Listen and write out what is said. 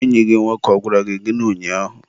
enyi gị nwoke ọ gwara gị gịnị ụnyaahụ?